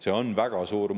Sellel on väga suur mõju.